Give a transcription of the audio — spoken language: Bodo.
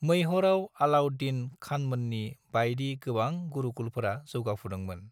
मैहरआव अलाउद्दीन खानमोननि बायदि गोबां गुरुकुलफोरा जौगाफुदोंमोन।